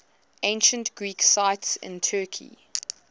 ancient greek sites in turkey